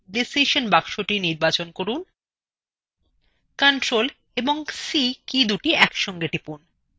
তাহলে decision boxthe নির্বাচন করুন এবং ctrl + c কীদুটি একসাথে টিপুন